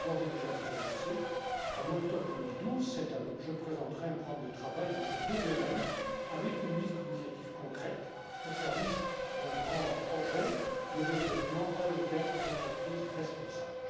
Mais je puis d'ores et déjà vous annoncer qu'en octobre 2012, je présenterai un programme de travail dans ces deux domaines avec une liste d'initiatives concrètes au service d'un grand projet le développement, à long terme, d'entreprises responsables.